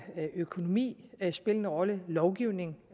økonomi spille en rolle lovgivning